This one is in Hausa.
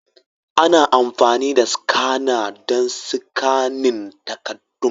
Ana amfani da skana don sikanin takaddun.